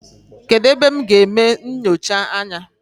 Kedụ ebe m ga-eme nnyocha anya?